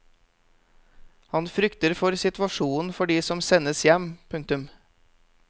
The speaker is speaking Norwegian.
Han frykter for situasjonen for de som sendes hjem. punktum